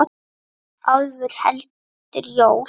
Álfur heldur jól.